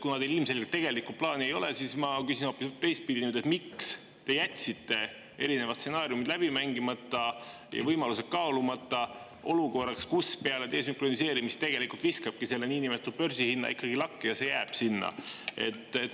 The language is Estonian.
Kuna teil ilmselgelt tegelikult plaani ei ole, siis ma küsin nüüd hoopis teistpidi: miks te jätsite erinevad stsenaariumid läbi mängimata ja võimalused kaalumata, kui peale desünkroniseerimist viskab börsihinna lakke ja see jääbki sinna?